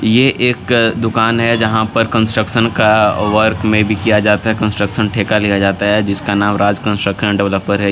ये एक दुकान है जहां पर कंस्ट्रक्शन का वर्क में भी किया जाता है कंस्ट्रक्शन ठेका लिया जाता है जिसका नाम राज कंस्ट्रक्शन डेवलपर है।